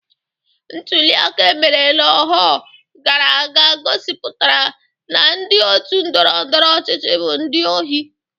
Ntuliaka emere na-ahọ gara aga gosipụtara na ndi otu ndọrọndọrọ ọchịchị bụ ndi ohi.